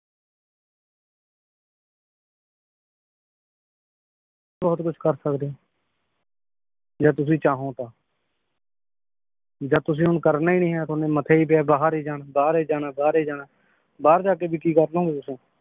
ਬਹੁਤ ਕੁਛ ਕਰ ਸਕਦੇ ਜੇ ਤੁਸੀ ਚਾਹੋਂ ਤਾਂ ਜਦ ਤੁਸੀ ਹੁਣ ਕਰਨਾ ਈ ਨੀ ਏ ਤੁਹਾਡੇ ਮੱਥੇ ਹੀ ਪਿਆ ਬਾਹਰ ਈ ਜਾਣਾ ਬਾਹਰ ਈ ਜਾਣਾ ਬਾਹਰ ਈ ਜਾਣਾ ਬਾਹਰ ਜਾ ਕੇ ਵੀ ਕੀ ਕਰਲੂੰਗੇ ਤੁਸੀ